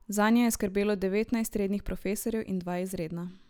Zanje je skrbelo devetnajst rednih profesorjev in dva izredna.